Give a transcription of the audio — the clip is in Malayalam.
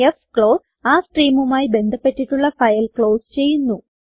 ഫ്ക്ലോസ് ആ സ്ട്രീമുമായി ബന്ധപ്പെട്ടിട്ടുള്ള ഫയൽ ക്ലോസ് ചെയ്യുന്നു